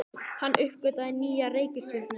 Hann uppgötvaði nýja reikistjörnu!